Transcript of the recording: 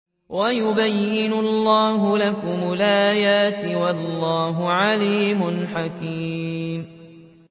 وَيُبَيِّنُ اللَّهُ لَكُمُ الْآيَاتِ ۚ وَاللَّهُ عَلِيمٌ حَكِيمٌ